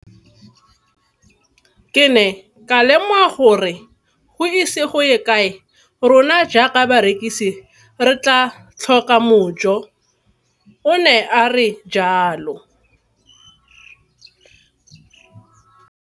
Ke ne ka lemoga gore go ise go ye kae rona jaaka barekise re tla tlhoka mojo, o ne a re jalo.